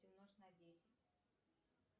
умножь на десять